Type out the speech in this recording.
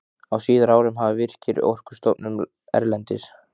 Á síðari árum hafa Virkir, Orkustofnun erlendis